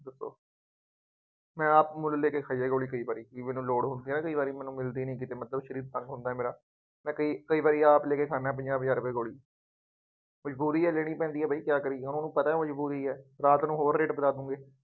ਮੈਂ ਆਪ ਮੁੱਲ ਲੈ ਕੇ ਖਾਈ ਹੈ ਗੋਲੀ ਕਈ ਵਾਰੀ, ਬਈ ਮੈਨੂੰ ਲੋੜ ਹੁੰਦੀ ਹੈ ਨਾ ਕਈ ਵਾਰੀ ਮੈਨੂੰ ਮਿਲਦੀ ਨਹੀਂ ਸਰੀਰ ਤੰਗ ਹੁੰਦਾ ਮੇਰਾ, ਮੈਂ ਕਈ ਕਈ ਵਾਰੀ ਆਪ ਲੈ ਕੇ ਖਾਂਦਾ ਪੰਜਾਹ ਪੰਜਾਹ ਰੁਪਏ ਦੀ ਗੋਲੀ ਬਈ ਗੋਲੀ ਅੇਨੇ ਦੀ ਪੈਂਦੀ ਹੈ ਬਈ ਕਿਆ ਕਰੀਏ, ਉਹਨੂੰ ਪਤਾ ਮਜ਼ਬੂਰੀ ਹੈ, ਰਾਤ ਨੂੰ ਹੋਰ ਰੇਟ ਵਧਾ ਦੂੰ ਗੇ